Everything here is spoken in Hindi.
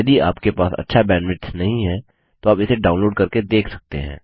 यदि आपके पास अच्छा बैंडविड्थ नहीं है तो आप इसे डाउनलोड करके देख सकते हैं